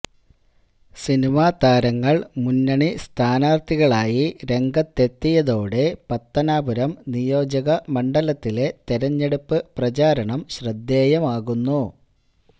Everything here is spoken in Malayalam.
സിനിമാ താരങ്ങള് മുന്നണി സ്ഥാനാര്ഥികളായി രംഗത്തെത്തിയതോടെ പത്തനാപുരം നിയോജക മണ്ഡലത്തിലെ തെരഞ്ഞെടുപ്പ് പ്രചാരണം ശ്രദ്ധേയമാകുന്നു